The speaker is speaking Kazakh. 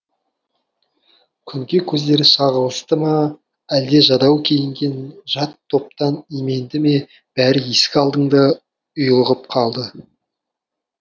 күнге көздері шағылысты ма әлде жадау киінген жат топтан именді ме бәрі есік алдыңда ұйлығып қалды